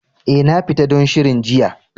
Eh, na fita don shirin jiya.